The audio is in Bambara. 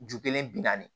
Ju kelen bi naani